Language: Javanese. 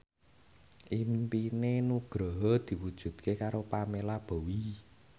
impine Nugroho diwujudke karo Pamela Bowie